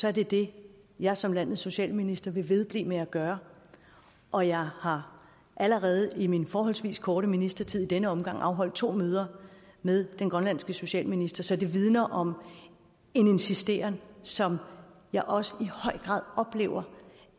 er det det jeg som landets socialminister vil vedblive med at gøre og jeg har allerede i min forholdsvis korte ministertid i denne omgang afholdt to møder med den grønlandske socialminister så det vidner om en insisteren som jeg også i høj grad oplever